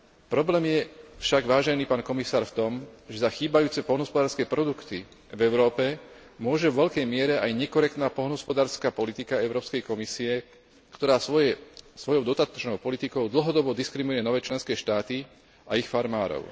Problém je však, vážený pán komisár, v tom, že za chýbajúce poľnohospodárske produkty v Európe môže vo veľkej miere aj nekorektná poľnohospodárska politika Európskej komisie, ktorá svojou dotačnou politikou dlhodobo diskriminuje nové členské štáty a ich farmárov.